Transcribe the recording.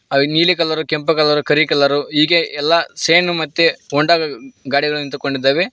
ಹಾಗೆ ನೀಲಿ ಕಲರು ಕೆಂಪು ಕಲರು ಕರಿ ಕಲರು ಹೀಗೆ ಎಲ್ಲಾ ಶಿನೇ ಮತ್ತೆ ಹೋಂಡಾ ಗಾಡಿಗಳು ನಿಂತುಕೊಂಡಿದ್ದಾವೆ.